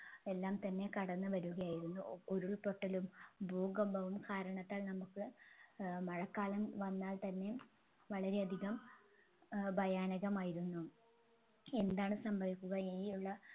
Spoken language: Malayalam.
എല്ലാംതന്നെ കടന്നു വരുകയായിരുന്നു ഉരുൾപൊട്ടലും ഭൂകമ്പവും കാരണത്താൽ നമ്മുക്ക് ഏർ മഴക്കാലം വന്നാൽ തന്നെ വളരെ അധികം ഏർ ഭയാനകമായിരുന്നു എന്താണ് സംഭവിക്കുക ഇനിയുള്ള